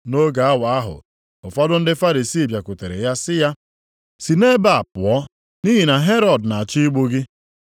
Nʼoge awa ahụ, ụfọdụ ndị Farisii bịakwutere ya sị ya, “Si nʼebe a pụọ, nʼihi na Herọd na-achọ igbu gị.”